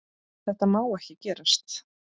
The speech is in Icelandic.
Þetta má ekki gerast.